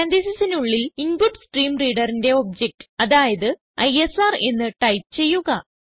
പരാൻതീസിസിനുള്ളിൽ InputStreamReaderന്റെ ഒബ്ജക്റ്റ് അതായത് ഐഎസ്ആർ എന്ന് ടൈപ്പ് ചെയ്യുക